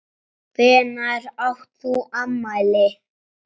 Hvenær átt þú afmæli?